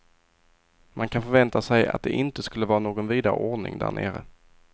Man kan förvänta sig att det inte skulle vara någon vidare ordning där nere.